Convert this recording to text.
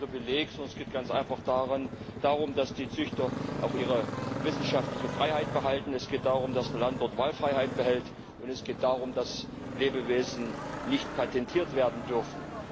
Das ist kein Privileg, sondern es geht ganz einfach darum, dass die Züchter auch ihre wissenschaftliche Freiheit behalten, es geht darum, dass der Landwirt Wahlfreiheit behält, und es geht darum, dass Lebewesen nicht patentiert werden dürfen.